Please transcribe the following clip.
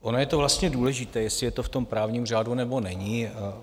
Ono to je vlastně důležité, jestli je to v tom právním řádu, nebo není.